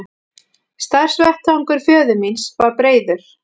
Starfsvettvangur föður míns var breiður.